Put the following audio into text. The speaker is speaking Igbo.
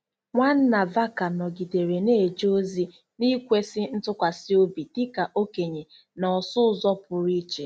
Nwanna Vaca nọgidere na-eje ozi n’ikwesị ntụkwasị obi dị ka okenye na ọsụ ụzọ pụrụ iche.